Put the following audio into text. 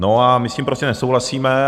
No a my s tím prostě nesouhlasíme.